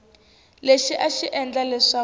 lexi a xi endla leswaku